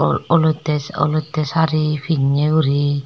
olote olote sari pinne guri.